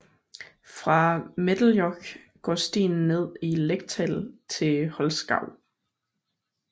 Fra Mädelejoch går stien ned i Lechtal til Holzgau